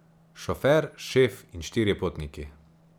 Šofer, šef in štirje potniki.